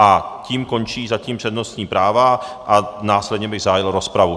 A tím končí zatím přednostní práva a následně bych zahájil rozpravu.